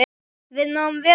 Við náðum vel saman.